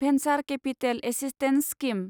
venture capital assistance scheme